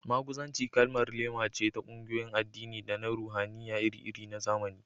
Maguzanci kalmar laima ce ta ƙungiyoyin addini da na ruhaniya iri-iri na zamani